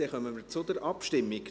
Wir kommen zur Abstimmung.